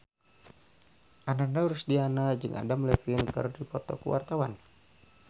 Ananda Rusdiana jeung Adam Levine keur dipoto ku wartawan